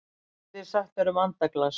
Hvað getið þið sagt mér um andaglas?